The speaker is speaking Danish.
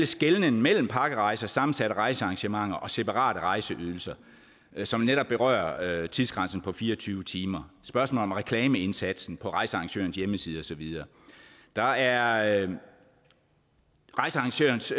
skelnen mellem pakkerejser og sammensatte rejsearrangementer og separate rejseydelser som netop berører tidsgrænsen på fire og tyve timer spørgsmålet om reklameindsatsen på rejsearrangørens hjemmeside og så videre der er rejsearrangørens